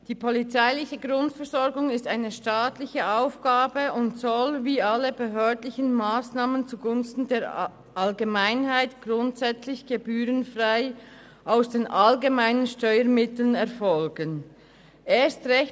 Die polizeiliche Grundversorgung ist eine staatliche Aufgabe und soll wie alle behördlichen Massnahmen zugunsten der Allgemeinheit grundsätzlich gebührenfrei aus den allgemeinen Steuermitteln finanziert werden.